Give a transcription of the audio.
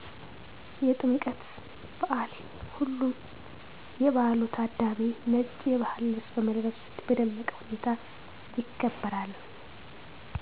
የጥምቀት በዓል ሁሉም የበዓሉ ታዳሚ ነጭ የባህል ልብስ በመልበስ በደመቀ ሁኔታ ይከበራል